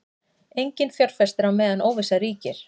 Enginn fjárfestir á meðan óvissa ríkir